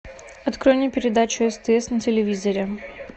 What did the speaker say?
открой мне передачу стс на телевизоре